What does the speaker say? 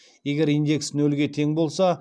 егер индекс нөлге тең болса